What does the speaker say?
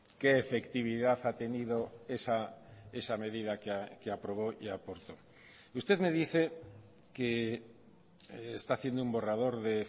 qué efectividad ha tenido esa medida que aprobó y aportó usted me dice que está haciendo un borrador de